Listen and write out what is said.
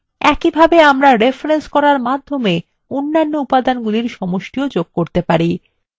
একইভাবে আমরা রেফরেন্স করার মাধ্যমে অন্য উপাদানগুলির সমষ্টিof যোগ করতে পারি